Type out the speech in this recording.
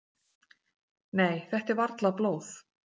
"""Nei, þetta er varla blóð."""